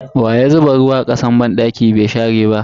Waya zuba ruwa a kasan banɗaki bai share ba?